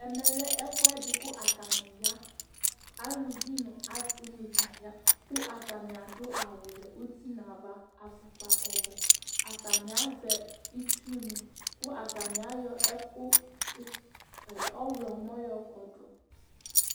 Ɛmɛlɛ ɛfʋɛdi kʋ atani ya Alʋvi nʋ asi ni dza ya kʋ atani adu awu vɛ ʋti nʋ ava, afʋkpa ɔwɛ Atani azɛ itsu ni kʋ atani ayɔ ɛku ɔwlɔmɔ yɔ kɔdu